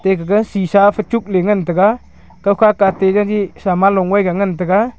te gaga shisha fe chukley ngan taiga kawka kate jaji saman longoiga ngan taiga.